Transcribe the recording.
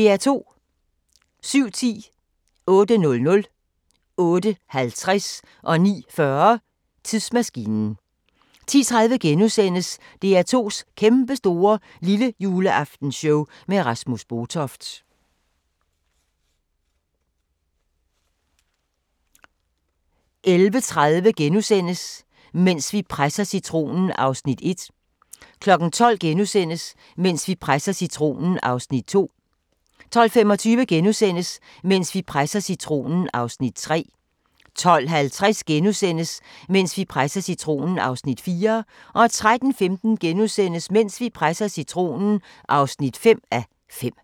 07:10: Tidsmaskinen 08:00: Tidsmaskinen 08:50: Tidsmaskinen 09:40: Tidsmaskinen 10:30: DR2's Kæmpestore Lillejuleaftenshow med Rasmus Botoft * 11:30: Mens vi presser citronen (1:5)* 12:00: Mens vi presser citronen (2:5)* 12:25: Mens vi presser citronen (3:5)* 12:50: Mens vi presser citronen (4:5)* 13:15: Mens vi presser citronen (5:5)*